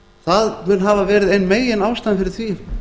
það mun hafa verið ein meginástæðan fyrir því